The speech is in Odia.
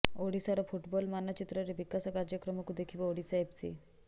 ଓଡ଼ିଶାର ଫୁଟବଲ୍ ମାନଚିତ୍ରରେ ବିକାଶ କାର୍ଯ୍ୟକ୍ରମକୁ ଦେଖିବ ଓଡ଼ିଶା ଏଫସି